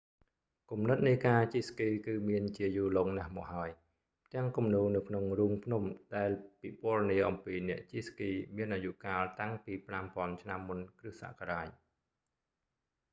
គំនិតនៃការជិះស្គីគឺមានជាយូរលង់ណាស់មកហើយ ផ្ទាំងគំនូរនៅក្នុងរូងភ្នំដែលពិពណ៌នាអំពីអ្នកជិះស្គីមានអាយុកាលតាំងពី 5000 ឆ្នាំមុនគ្រឹះសករាជ